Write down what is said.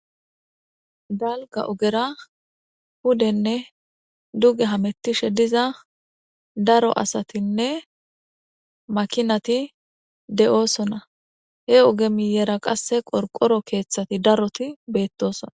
Dalka ogera hudenne duge hamettishe diza daro asatinne makinati de'oosona he oge miyera qasse qorqoro keeththati daroti beettosona.